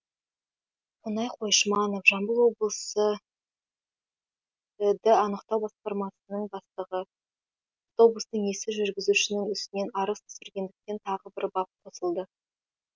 қонай қойшыманов жамбыл облысы іід анықтау басқармасының бастығы автобустың иесі жүргізушінің үстінен арыз түсіргендіктен тағы бір бап қосылды